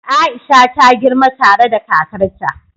Aisha ta girma tare da kakarta.